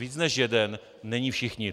Víc než jeden není všichni.